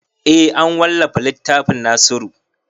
Eh an wallafa littafin nasiru